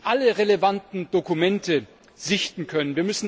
Wir müssen alle relevanten Dokumente sichten können.